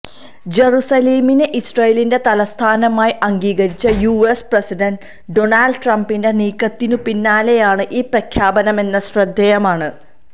ജറുസലേമിനെ ഇസ്രയേലിന്റെ തലസ്ഥാനമായി അംഗീകരിച്ച യുഎസ് പ്രസിഡന്റ് ഡോണാൾഡ് ട്രംപിന്റെ നീക്കത്തിനു പിന്നാലെയാണ് ഈ പ്രഖ്യാപനമെന്നത് ശ്രദ്ധേയമാണ്